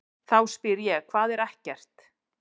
Þá spyr ég: HVAÐ ER EKKERT?